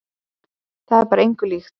Það er bara engu líkt.